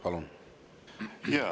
Palun!